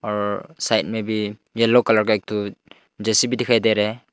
और साइड में भी येलो कलर का एक ठो जे_सी_बी दिखाई दे रहा है।